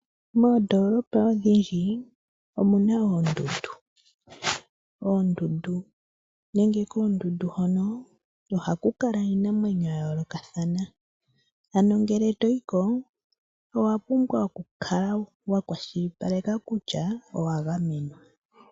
Moondoolopa odhindji omuna oondundu. Oondundu nenge koondundu hono ohaku kala iinamwenyo ya yoolokathana, ano ngele toyi ko owa pumbwa okukala wa kwashilipaleka kutya owa gamenwa.